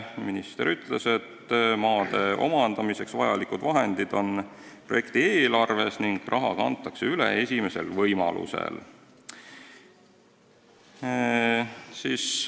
Minister ütles, et maade omandamiseks vajalik raha on projekti eelarves olemas ning raha kantakse üle esimesel võimalusel.